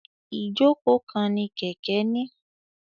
Ijoko kan ni kẹkẹ ni.